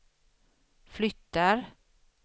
flyttar